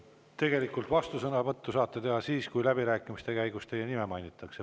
Tegelikult saate vastusõnavõtu teha siis, kui läbirääkimiste käigus on teie nime mainitud.